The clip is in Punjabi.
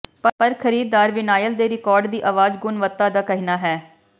ਪਰ ਖਰੀਦਦਾਰ ਵਿਨਾਇਲ ਦੇ ਰਿਕਾਰਡ ਦੀ ਆਵਾਜ਼ ਗੁਣਵੱਤਾ ਦਾ ਕਹਿਣਾ ਹੈ